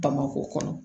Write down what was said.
Bamakɔ kɔnɔ